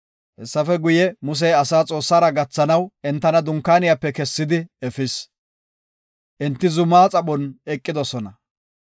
Hessafe guye, Musey asaa Xoossara gathanaw entana dunkaaniyape kessidi efis; enti zumaa xaphon eqidosona.